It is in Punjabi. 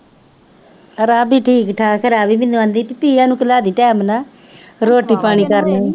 ਰਾਧੀ ਠੀਕ ਠਾਕ ਹੈ ਰਾਧੀ ਮੈਨੂੰ ਤਿਆਂ ਨੂੰ ਸੁਲਾ ਦੇਈ time ਨਾਲ, ਰੋਟੀ ਪਾਣੀ ਕਰ ਲਈਂ